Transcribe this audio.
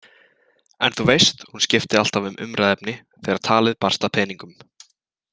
En þú veist, hún skipti alltaf um umræðuefni, þegar talið barst að peningum.